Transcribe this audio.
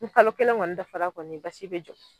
Ni kalo kelen kɔni dafara kɔni basi bɛ jɔ.